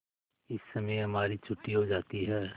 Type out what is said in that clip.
इस समय हमारी छुट्टी हो जाती है